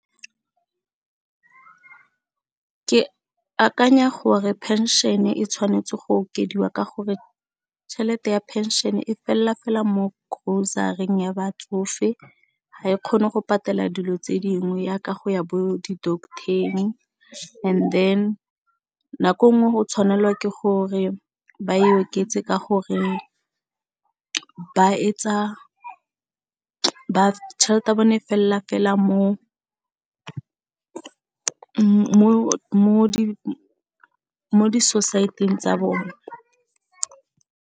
Ke akanya gore phenšene e tshwanetse go okediwa ka gore tšhelete ya pension e felela fela mo grocery-ing ya batsofe, ha e kgone go patela dilo tse dingwe yaka go ya bo di doctor-eng and then nako nngwe go tshwanelwa ke gore ba e oketse ka gore ba etsa, tšhelete ya bone felela mo di society-ng tsa bone.